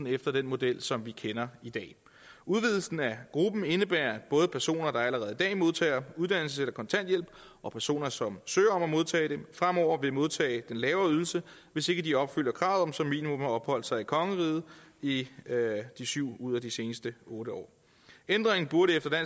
efter den model som vi kender i dag udvidelsen af gruppen indebærer at både personer der allerede i dag modtager uddannelses eller kontanthjælp og personer som søger om at modtage den fremover vil modtage den lavere ydelse hvis ikke de opfylder kravet om som minimum at have opholdt sig i kongeriget i syv ud af de seneste otte år ændringen burde efter